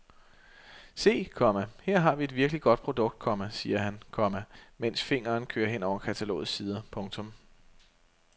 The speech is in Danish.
Se, komma her har vi et virkelig godt produkt, komma siger han, komma medens fingeren kører hen over katalogets sider. punktum